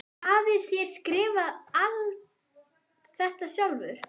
Hafið þér skrifað alt þetta sjálfur?